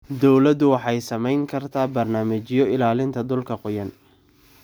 Dawladdu waxay samayn kartaa barnaamijyo ilaalinta dhulka qoyan.